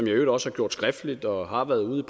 i øvrigt også har gjort skriftligt og har været ude